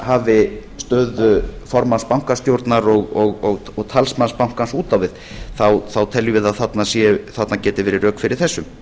hafi stöðu formanns bankastjórnar og talsmanns bankans út á við teljum við að þarna gæti verið rök fyrir þessu